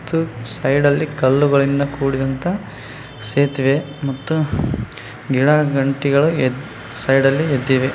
ಸೈಡಲ್ಲಿ ಕಲ್ಲುಗಳಿಂದ ಕೂಡಿದಂತ ಸೇತುವೆ ಮತ್ತು ಗಿಡಗಂಟೆಗಳು ಇವೆ ಸೈಡಲ್ಲಿ ಇದ್ದಾವೆ.